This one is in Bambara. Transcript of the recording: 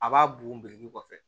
A b'a bugun biriki kɔfɛ